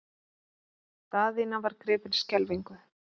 Daðína var gripin skelfingu.